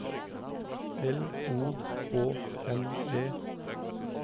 L O H N E